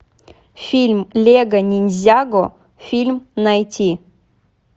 фильм лего ниндзяго фильм найти